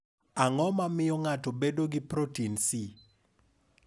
Ang’o ma miyo ng’ato bedo gi protin C?